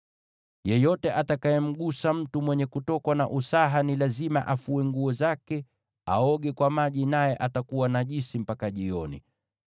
“ ‘Yeyote atakayemgusa mtu mwenye kutokwa na usaha, ni lazima afue nguo zake na aoge kwa maji, naye atakuwa najisi mpaka jioni.